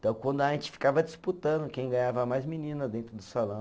Então, quando a gente ficava disputando quem ganhava mais menina dentro do salão